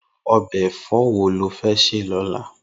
Irú òbè èfò wó ló fè sè lòlá?